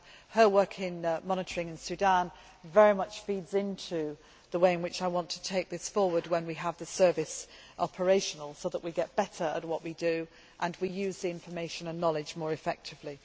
Her work in monitoring in Sudan very much feeds into the way in which I want to take this forward when we have the service operational, so that we get better at what we do and we use the information and knowledge more effectively.